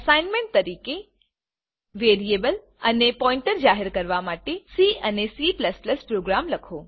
assignment તરીકે variable અને pointer જાહેર કરવા માટે સી અને C પ્રોગ્રામ લખો